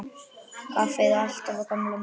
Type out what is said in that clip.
Kaffið alltaf á gamla mátann.